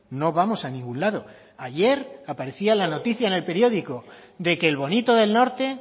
no vamos a ningún lado ayer aparecía la noticia en el periódico de que el bonito del norte